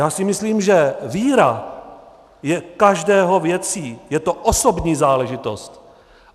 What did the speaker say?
Já si myslím, že víra je každého věcí, je to osobní záležitost.